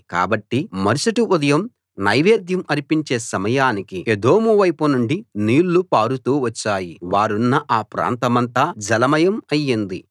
కాబట్టి మరుసటి ఉదయం నైవేద్యం అర్పించే సమయానికి ఎదోము వైపు నుండి నీళ్ళు పారుతూ వచ్చాయి వారున్న ఆ ప్రాంతమంతా జలమయం అయింది